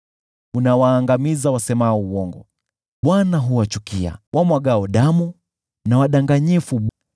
Unawaangamiza wasemao uongo. Bwana huwachukia wamwagao damu na wadanganyifu.